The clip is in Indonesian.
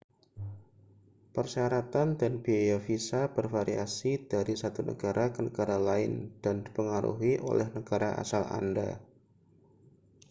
persyaratan dan biaya visa bervariasi dari satu negara ke negara lain dan dipengaruhi oleh negara asal anda